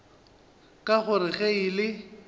ka gore ge e le